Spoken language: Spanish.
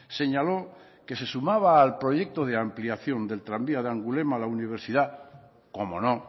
señaló que se sumaba al proyecto de ampliación del tranvía de angulema a la universidad cómo no